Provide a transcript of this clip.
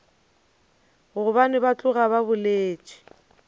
gobane ba tloga ba boletše